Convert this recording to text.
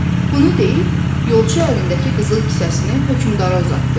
Bunu deyib yolçu əlindəki qızıl kisəsini hökmdara uzatdı.